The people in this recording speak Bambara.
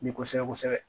Ni kosɛbɛ kosɛbɛ